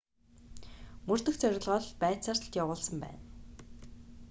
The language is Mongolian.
мөрдөх зорилгоор байцаалт явуулсан байна